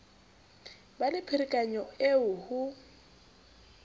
ba le pherekano eo ho